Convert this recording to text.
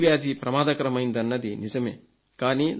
dengue వ్యాధి ప్రమాదకరమైనదన్నది నిజమే